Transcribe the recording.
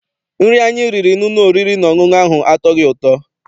Nri anyị riri n'ụlọ oriri na ọṅụṅụ ahụ atọghị ụtọ.